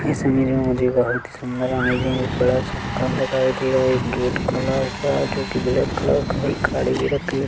इस इमेज मे मुझे बहुत ही सुंदर अमैज़िंग एक बड़ा सा मकान दिखाई दे रहा एक गेट लगा हुआ है जो कि ब्लैक कलर का है एक गाड़ी भी रखी है।